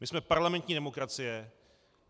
My jsme parlamentní demokracie.